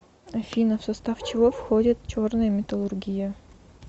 афина в состав чего входит черная металлургия